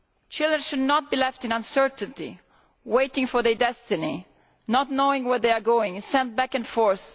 Children should not be left in uncertainty, waiting for their destiny, not knowing where they are going and being sent back and forth.